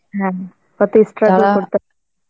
হ্যাঁ, কত struggle করতে হয়,